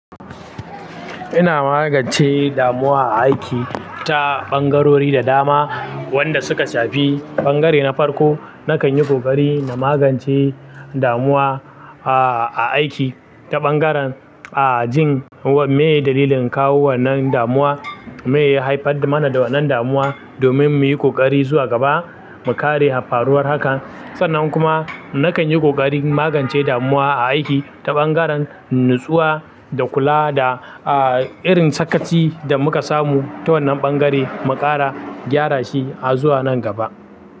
Ina magance damuwa a aiki ta ɓangarori da dama wanda suka shafi ɓangare na farko. Nakan yi ƙoƙari na magance damuwa, a, a aiki ta ɓangaren, a, jin wan me dalilin kawo wannan damuwa, me ya haifar mana da wannan damuwa domin mu yi ƙoƙari zuwa gaba mu kare faruwar haka. Sannan kuma nakan yi ƙoƙarin magance damuwa a aiki ta ɓangaren nutsuwa da kula da, a, irin sakaci da muka samu ta wannan ɓangare mu ƙara gyara shi a zuwa nan gaba.